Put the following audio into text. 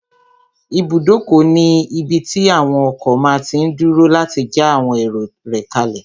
Ibùdókọ̀ ní ibí tí àwon ọkọ̀ máa tí n dúró láti já àwọn èrò rẹ̀ kálẹ̀